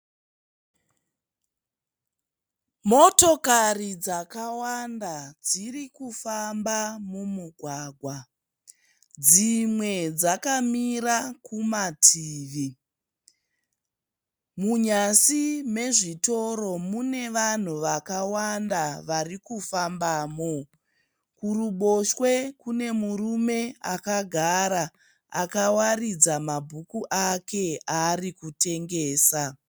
Motokari dzakawanda dziri kufamba mumugwagwa. Dzimwe dzakamira kumativi. Munyasi mezvitoro mune vanhu vakawanda varikufambamo. Kuruboshwe kune murume akagara akawaridza mabhuku ake aari kutengesa.